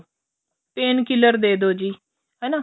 pain killer ਦੇਦੋ ਜੀ ਹਨਾ